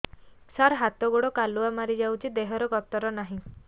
ସାର ହାତ ଗୋଡ଼ କାଲୁଆ ମାରି ଯାଉଛି ଦେହର ଗତର ନାହିଁ